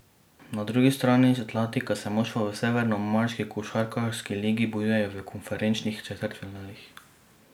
Na drugi strani Atlantika se moštva v severnoameriški košarkarski ligi bojujejo v konferenčnih četrtfinalih.